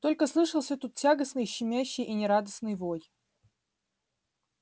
только слышался тут тягостный щемящий и нерадостный вой